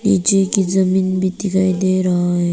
पीछे की जमीन भी दिखाई दे रहा है।